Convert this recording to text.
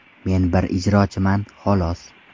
Men bir ijrochiman, xolos.